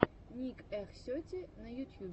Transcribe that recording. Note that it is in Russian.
ник эх сети на ютьюбе